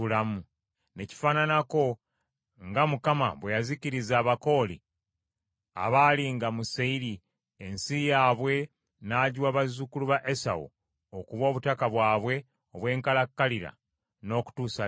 Ne kifaananako nga Mukama bwe yazikiriza Abakooli abaalinga mu Seyiri, ensi yaabwe n’agiwa bazzukulu ba Esawu okuba obutaka bwabwe obw’enkalakkalira n’okutuusa leero.